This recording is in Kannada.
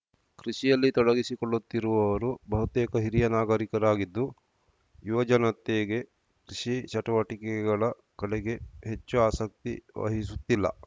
ಕೃಷಿಯಲ್ಲಿ ತೊಡಗಿಸಿಕೊಳ್ಳುತ್ತಿರುವವರು ಬಹುತೇಕ ಹಿರಿಯ ನಾಗರಿಕರಾಗಿದ್ದು ಯುವಜನತೆಗೆ ಕೃಷಿ ಚಟುವಟಿಕೆಗಳ ಕಡೆಗೆ ಹೆಚ್ಚು ಆಸಕ್ತಿ ವಹಿಸುತ್ತಿಲ್ಲ